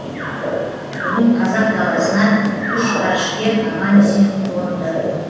бүгін қазақ даласына үш ғарышкер аман есен қонды